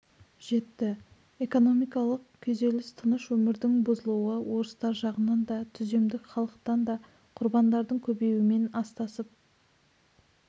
жетті экономикалық күйзеліс тыныш өмірдің бұзылуы орыстар жағынан да түземдік халықтан да құрбандардың көбеюімен астасып